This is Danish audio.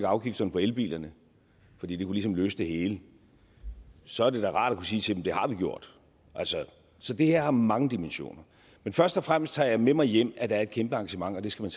afgifterne på elbilerne fordi det ligesom kunne løse det hele så er det da rart at kunne sige til dem at det har vi gjort så det her har mange dimensioner men først og fremmest tager jeg med mig hjem at der er et kæmpe engagement og det skal